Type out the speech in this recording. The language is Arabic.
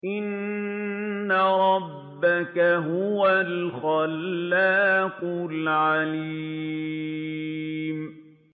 إِنَّ رَبَّكَ هُوَ الْخَلَّاقُ الْعَلِيمُ